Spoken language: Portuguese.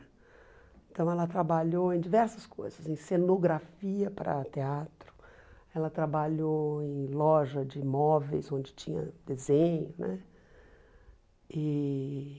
Então ela trabalhou em diversas coisas, em cenografia para teatro, ela trabalhou em loja de imóveis onde tinha desenho né e.